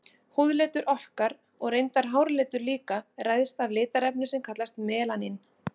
Húðlitur okkar, og reyndar háralitur líka, ræðst af litarefni sem kallast melanín.